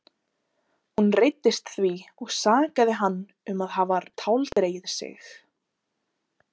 Hún reiddist því og sakaði hann um að hafa táldregið sig.